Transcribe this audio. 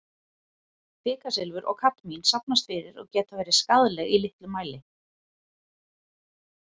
Kvikasilfur og kadmín safnast fyrir og geta verið skaðleg í litlum mæli.